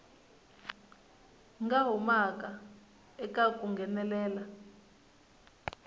nga humaka eka ku nghenelela